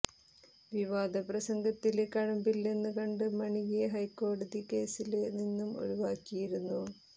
വിവാദ പ്രസംഗത്തില് കഴമ്പില്ലെന്ന് കണ്ട് മണിയെ ഹൈക്കോടതി കേസില് നിന്നും ഒഴിവാക്കിയിരുന്നു